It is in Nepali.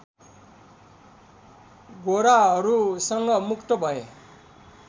गोराहरूसँग मुक्त भए